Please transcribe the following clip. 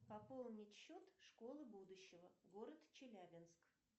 пополнить счет школы будущего город челябинск